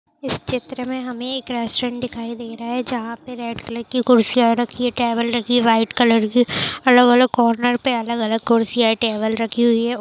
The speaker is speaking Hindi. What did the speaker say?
इस चित्र मे हमे एक रेस्टोरेंट दिखाई दे रहा है जहां पे रेड कलर की कुर्सियां रखी है टेबल रखी है व्हाइट कलर की अलग-अलग कॉर्नर पर अलग-अलग कुर्सियां टेबल रखी हुई है।